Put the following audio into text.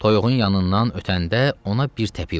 Toyuğun yanından ötəndə ona bir təpik vurdu.